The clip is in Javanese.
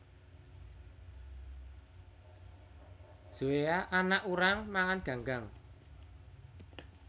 Zoea anak urang mangan ganggang